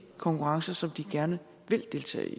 konkurrencer som de gerne vil deltage i